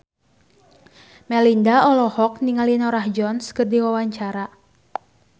Melinda olohok ningali Norah Jones keur diwawancara